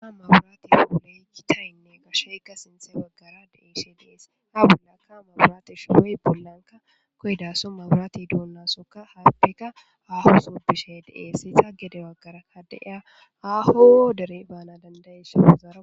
A maburati puuleyki tayynne gasheykka sinte waggara deishe dees ha bulakka maburati shuhoy bollanka koydaso maburati duunnasoka haappika aho so bishe deeessi ta gede waggara hadeya ahoodere baana dandayeesha wozaaa.